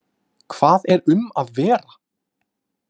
Hvað er um að vera?